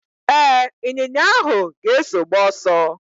Ee, ịnyinya ahụ ga-eso gbaa ọsọ.